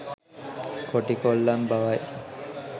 කොටි කොල්ලන් බවයි.